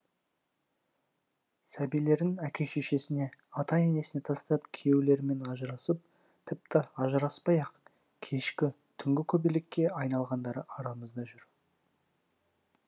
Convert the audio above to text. сәбилерін әке шешесіне ата енесіне тастап күйеулерімен ажырасып тіпті ажыраспай ақ кешкі түнгі көбелекке айналғандары арамызда жүр